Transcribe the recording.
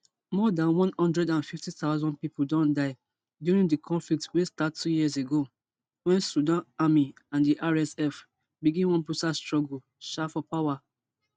more dan one hundred and fifty thousand pipo don die during di conflict wey start two years ago wen sudan army and di rsf begin one brutal struggle um for power